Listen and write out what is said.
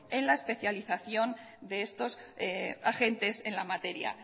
en la especialización de estos agentes en la materia